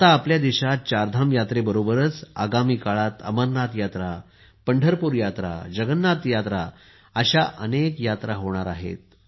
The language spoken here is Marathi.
आता आपल्या देशात चारधाम यात्रेबरोबरच आगामी काळात अमरनाथ यात्रा पंढरपूर यात्रा जगन्नाथ यात्रा अशा अनेक यात्रा होणार आहेत